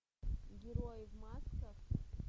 герои в масках